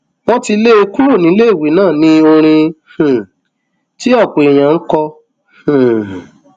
wọn ti lé e kúrò níléèwé ná ní orin um tí ọpọ èèyàn ń kọ um